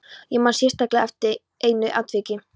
Ég man sérstaklega eftir einu atviki.